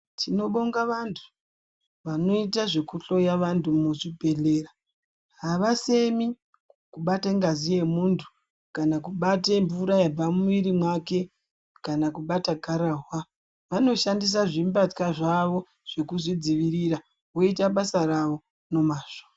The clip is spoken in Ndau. Tinobonga vantu vanota zvekuhloya vantu muzvibhedhlera havasemi kubate ngazi yemuntu kana kubate mvura yabva mumwiri mwake kana kubata gararwa. Vanoshandisa zvimbatya zvavo zvekuzvidzivirira voita basa ravo nomazvo.